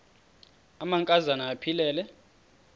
amanka zana aphilele